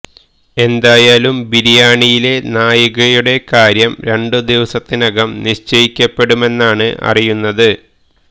എന്തായാലും ബിരിയാണിയിലെ നായികയുടെ കാര്യം രണ്ട് ദിവസത്തിനകം നിശ്ചയിക്കപ്പെടുമെന്നാണ് അറിയുന്നത്